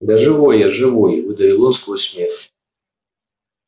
да живой я живой выдавил он сквозь смех